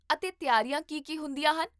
ਅਤੇ ਤਿਆਰੀਆਂ ਕੀ ਕੀ ਹੁੰਦੀਆਂ ਹਨ?